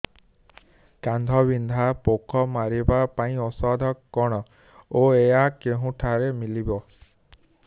କାଣ୍ଡବିନ୍ଧା ପୋକ ମାରିବା ପାଇଁ ଔଷଧ କଣ ଓ ଏହା କେଉଁଠାରୁ ମିଳିବ